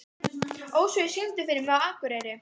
Ósvífur, syngdu fyrir mig „Á Akureyri“.